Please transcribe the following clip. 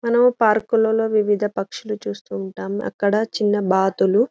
మనం పార్క్ లలో వివిధ పక్షులని చూస్తూ ఉంటాం అక్కడ చిన్న బాతులు .